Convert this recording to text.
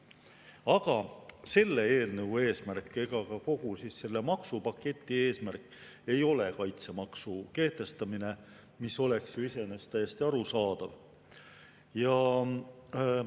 Aga selle eelnõu eesmärk ega ka kogu selle maksupaketi eesmärk ei ole kaitsemaksu kehtestamine, mis oleks ju iseenesest täiesti arusaadav.